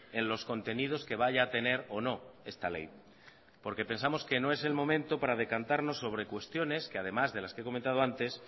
en los contenidos que vaya a tener o no esta ley porque pensamos que no es el momento para decantarnos sobre cuestiones que además de las que he comentado antes